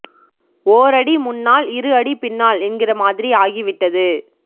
ஓர் அடி முன்னால் இரு அடி பின்னால் என்கிற மாதிரி ஆகிவிட்டது